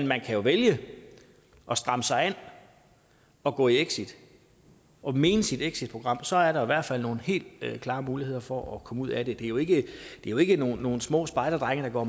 man kan jo vælge at stramme sig an og gå i exit og mene sit exitprogram og så er der i hvert fald nogle helt klare muligheder for at komme ud af det det er jo ikke jo ikke nogen små spejderdrenge der går